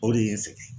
O de ye n sɛgɛn